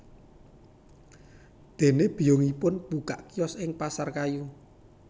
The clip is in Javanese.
Dene biyungipun mbukak kios ing Pasar Kayu